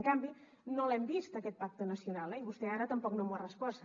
en canvi no l’hem vist aquest pacte nacional i vostè ara tampoc no ho ha respost